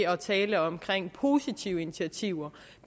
at tale om positive initiativer